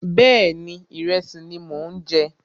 Bẹ́ẹ̀ni, ìrẹsì ni mò ń jẹ